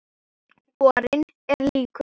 Borinn er líkur